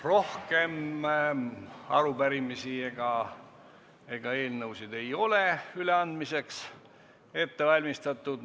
Rohkem arupärimisi ega eelnõusid ei ole üleandmiseks ette valmistatud.